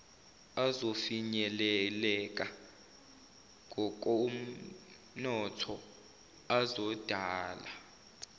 azofinyeleleka ngokomnotho azodala